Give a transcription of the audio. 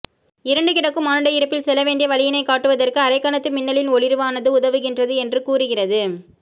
இருண்டு கிடக்கும் மானுட இருப்பில் செல்ல வேண்டிய வழியினைக்காட்டுவதற்கு அரைக்கணத்து மின்னலின் ஒளிர்வானது உதவுகின்றது என்று கூறுகிறது